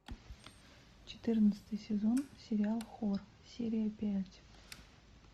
четырнадцатый сезон сериал хор серия пять